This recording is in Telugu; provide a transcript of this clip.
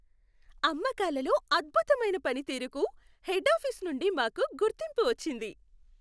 అమ్మకాలలో అద్భుతమైన పనితీరుకు హెడ్ ఆఫీసు నుండి మాకు గుర్తింపు వచ్చింది.